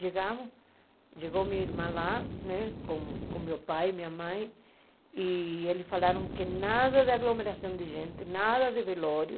Chegamos, chegou minha irmã lá né, com com meu pai e minha mãe, e eles falaram que nada de aglomeração de gente, nada de velório,